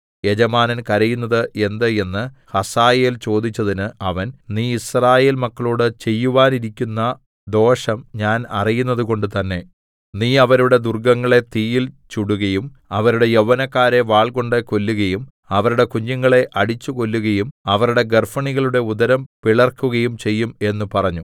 യജമാനൻ കരയുന്നത് എന്ത് എന്ന് ഹസായേൽ ചോദിച്ചതിന് അവൻ നീ യിസ്രായേൽ മക്കളോട് ചെയ്യുവാനിരിക്കുന്ന ദോഷം ഞാൻ അറിയുന്നതുകൊണ്ടു തന്നേ നീ അവരുടെ ദുർഗ്ഗങ്ങളെ തീയിൽ ചുടുകയും അവരുടെ യൗവനക്കാരെ വാൾകൊണ്ട് കൊല്ലുകയും അവരുടെ കുഞ്ഞുങ്ങളെ അടിച്ചു കൊല്ലുകയും അവരുടെ ഗർഭിണികളുടെ ഉദരം പിളർക്കയും ചെയ്യും എന്ന് പറഞ്ഞു